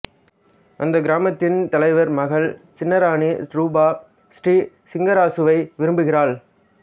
அந்தக் கிராமத்தின் தலைவர் மகள் சின்னராணி ரூபா ஸ்ரீ சிங்கராசுவை விரும்புகிறாள்